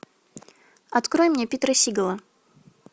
открой мне питера сигала